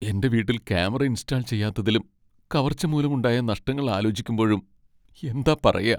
എന്റെ വീട്ടിൽ camera install ചെയ്യാത്തതിലും കവർച്ച മൂലം ഉണ്ടായ നഷ്ടങ്ങൾ ആലോചിക്കുമ്പോഴും എന്താ പറയാ!